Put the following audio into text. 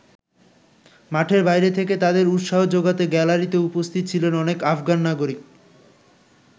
মাঠের বাইরে থেকে তাদের উৎসাহ যোগাতে গ্যালারিতেও উপস্থিত ছিলেন অনেক আফগান নাগরিক।